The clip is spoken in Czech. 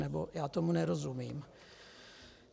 Nebo já tomu nerozumím.